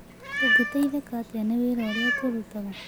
Ũngĩteithĩka atĩa nĩ wĩra ũrĩa tũrutaga?